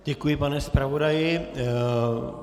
Děkuji, pane zpravodaji.